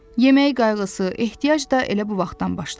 Yeməyi qayğısı, ehtiyac da elə bu vaxtdan başladı.